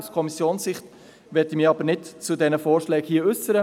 Aus Kommissionssicht möchte ich mich hier aber nicht zu diesen Vorschlägen äussern.